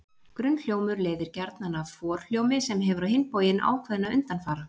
Grunnhljómur leiðir gjarnan af forhljómi, sem hefur á hinn bóginn ákveðna undanfara.